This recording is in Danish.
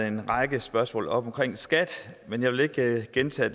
en række spørgsmål op om skat men jeg vil ikke gentage